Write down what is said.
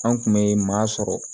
An kun bɛ maa sɔrɔ